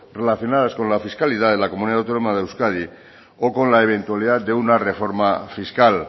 relacionados con la fiscalidad en la comunidad autónoma de euskadi o con la eventualidad de una reforma fiscal